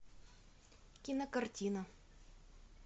кинокартина